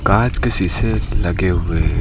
कांच के शीशे लगे हुए हैं।